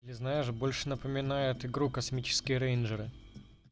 ты знаешь больше напоминает игру космические рейнджеры